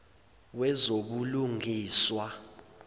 wezobulungiswa